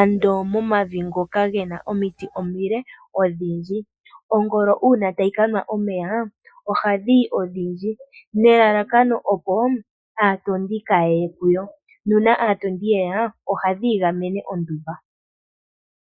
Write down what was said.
ando momavi ngoka ge na omiti omile, odhindji. Ongolo uuna tayi ka nwa omeya, ohadhi yi odhindji nelalakano opo aatondi kaaye ye kuyo, nuuna aatondi ye ya, ohadhi igamene ondumba.